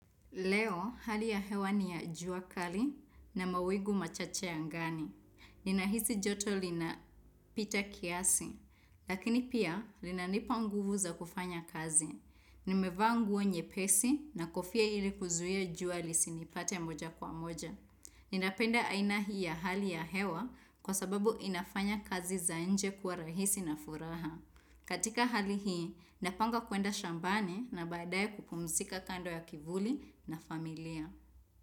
Leo, hali ya hewa ni ya jua kali na mawingu machache angani. Ninahisi joto linapita kiasi, lakini pia linanipa nguvu za kufanya kazi. Nimevaa nguo nyepesi na kofia ili kuzuia jua lisinipate moja kwa moja. Ninapenda aina hii ya hali ya hewa, kwa sababu inafanya kazi za nje kua rahisi na furaha. Katika hali hii, napanga kuenda shambani na baadae kupumzika kando ya kivuli na familia.